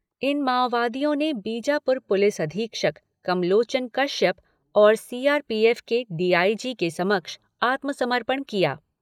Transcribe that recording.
इन माओवादियों ने बीजापुर पुलिस अधीक्षक कमलोचन कश्यप और सीआरपीएफ के डीआईजी के समक्ष आत्मसमर्पण किया।